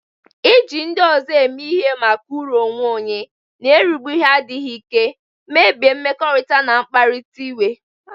Iji ndị ọzọ eme ihe maka uru onwe onye na-erigbu adịghị ike, mebie mmekọrịta, ma kpatara iwe.